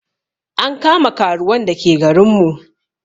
An kama karuwan da ke garin mu